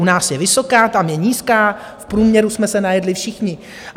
U nás je vysoká, tam je nízká, v průměru jsme se najedli všichni.